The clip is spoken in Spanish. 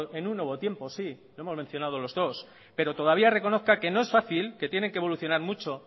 en un nuevo tiempos sí lo hemos mencionado los dos pero todavía reconozca que no es fácil que tienen que evolucionar mucho